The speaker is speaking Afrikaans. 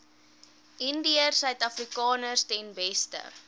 indiërsuidafrikaners ten beste